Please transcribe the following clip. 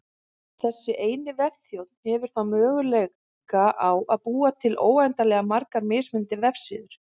Þessi eini vefþjónn hefur þá möguleika á að búa til óendanlega margar mismunandi vefsíður.